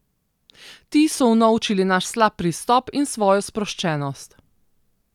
Ti so unovčili naš slab pristop in svojo sproščenost.